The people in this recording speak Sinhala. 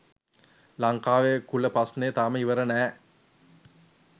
ලංකාවෙ කුල ප්‍රශ්නය තාම ඉවර නෑ